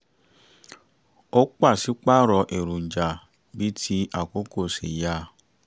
ó paṣípààrọ̀ èròjà bíi ti àkókò ṣe yá